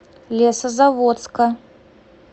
лесозаводска